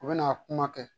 U bɛ na kuma kɛ